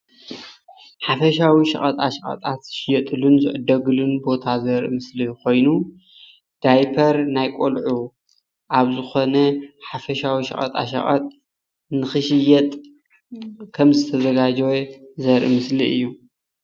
ሓፈሻዊ ሸቀጣ ሸቀጥ ዝሽየጥሉን ዝዕደግሉን ቦታ ዘርኢ ምስሊ ኮይኑ ዳይፐር ናይ ቆልዑ ኣብ ዝኮነ ሓፈሻዊ ሸቀጣ ሸቀጥ ንክሽየጥ ከም ዝተዘጋጀወ ዘርኢ ምስሊ እዩ፡፡